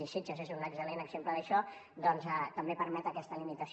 i sitges és un excel·lent exemple d’això ja que també permet aquesta limitació